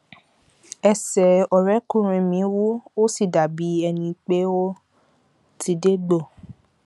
ẹsẹ ọrẹkùnrin mi wú ó sì dàbí ẹni pé ó ti dégbò